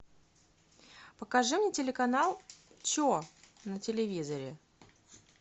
покажи мне телеканал че на телевизоре